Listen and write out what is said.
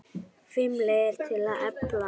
FIMM LEIÐIR TIL AÐ EFLA